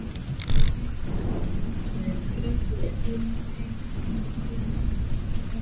Sverrir Kristjánsson skrifaði innblásna grein um feril